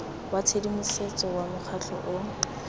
wa tshedimosetso wa mokgatlho o